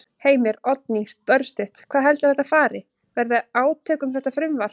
Heimir: Oddný, örstutt, hvað heldurðu að þetta fari, verði átök um þetta frumvarp?